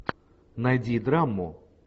найди драму